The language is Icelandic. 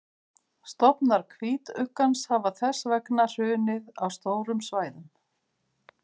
stofnar hvítuggans hafa þess vegna hrunið á stórum svæðum